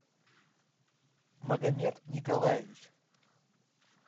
магомед николаевич